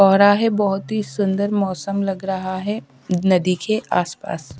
हो रहा है। बोहोत ही सुंदर मौसम लग रहा है नदी के आसपास।